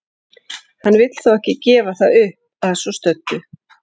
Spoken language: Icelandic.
Hann vill þó ekki gefa það upp að svo stöddu.